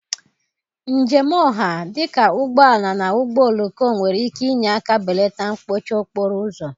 njem ọha, dị ka ụgbọ ala na ụgbọ oloko, nwere ike inye aka belata mkpọchị okporo ụzọ.